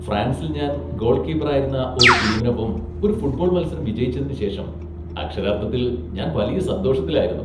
ഫ്രാൻസിൽ ഞാൻ ഗോൾകീപ്പറായിരുന്ന ഒരു ടീമിനൊപ്പം ഒരു ഫുട്ബോൾ മത്സരം വിജയിച്ചതിന് ശേഷം അക്ഷരാർത്ഥത്തിൽ ഞാൻ വലിയ സന്തോഷത്തിലായിരുന്നു.